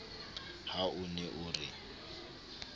ha o ne o re